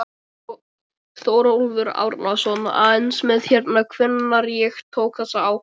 Þórólfur Árnason: Aðeins með hérna, hvenær ég tók þessa ákvörðun?